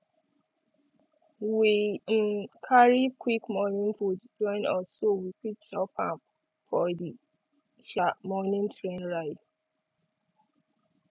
we um carry quick morning food join us so we fit chop am for the um morning train ride